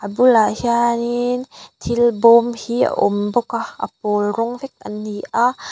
a bulah hianin thil bawm hi a awm bawk a a pawl rawng vek an ni a.